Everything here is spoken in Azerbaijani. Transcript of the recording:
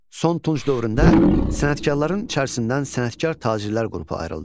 Son Tunç dövründə sənətkarların içərisindən sənətkar-tacirlər qrupu ayrıldı.